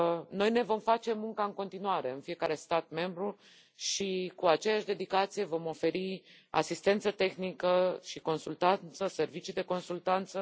Noi ne vom face munca în continuare în fiecare stat membru și cu aceeași dedicație vom oferi asistență tehnică și servicii de consultanță.